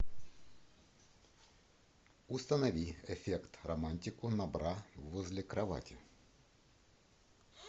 установи эффект романтику на бра возле кровати